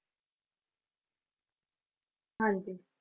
ਹਾਂਜੀ।